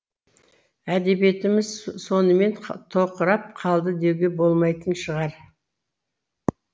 әдебиетіміз сонымен тоқырап қалды деуге болмайтын шығар